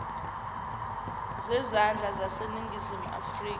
zezandla zaseningizimu afrika